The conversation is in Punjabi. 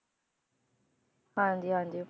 ਹਾਂਜੀ ਹਾਂਜੀ